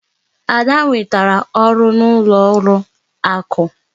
Ada nwetara ọrụ n'ụlọ akụ.